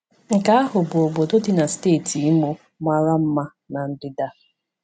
Nke ahụ bụ obodo dị na steeti Imo mara mma na ndịda.